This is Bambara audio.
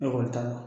Ekɔli t'a la